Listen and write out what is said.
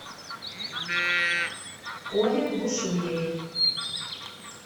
коле бушуеве